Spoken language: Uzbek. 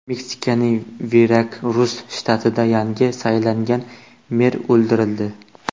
Meksikaning Verakrus shtatida yangi saylangan mer o‘ldirildi.